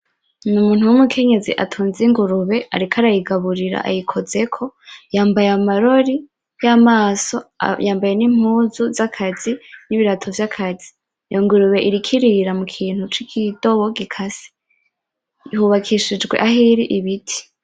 Numuntu wumukenyezi atunze ingurube ariko arayigaburira ayikozeko yambaye amarori yamaso yambaye nimpuzu zakazi nibirato vyakazi ingurube iriko irira mukintu cikidobo gikase hubakishijwe aho iri ibiti